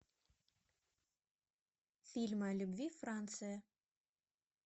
фильмы о любви франция